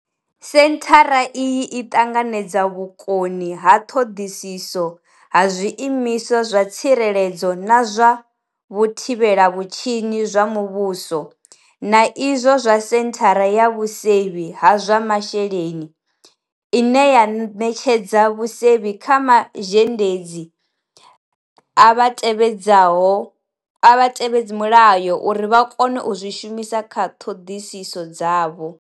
Senthara iyi i ṱanganya vhukoni ha ṱhoḓisiso ha zwiimiswa zwa tsireledzo na zwa vhuthivhela vhutshinyi zwa muvhuso na izwo zwa Senthara ya Vhusevhi ha zwa Masheleni, ine ya ṋetshedza vhusevhi kha mazhendedzi a vhatevhedza mulayo uri vha kone u zwi shumisa kha ṱhoḓisiso dzavho.